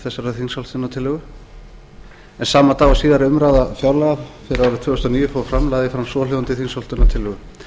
þessarar þingsályktunartillögu en sama dag og síðari umræða fjárlaga fyrir árið tvö þúsund og níu fór fram lagði ég fram svohljóðandi þingsályktunartillögu